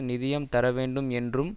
நிதியம் தர வேண்டும் என்றும்